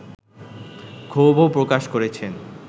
ক্ষোভও প্রকাশ করেছেন